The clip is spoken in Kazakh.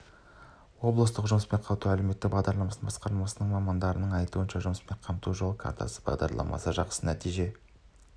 облыстық жұмыспен қамту және әлеуметтік бағдарламалар басқармасы мамандарының айтуынша жұмыспен қамту жол картасы бағдарламасы жақсы нәтиже